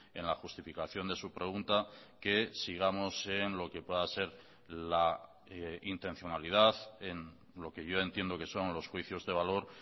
en la justificación de su pregunta que sigamos en lo que pueda ser la intencionalidad en lo que yo entiendo que son los juicios de valor